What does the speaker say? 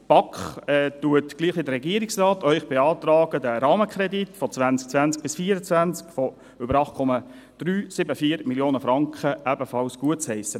Die BaK beantragt Ihnen, gleich wie der Regierungsrat, den Rahmenkredit 2020–2024 über 8,374 Mio. Franken ebenfalls gutzuheissen.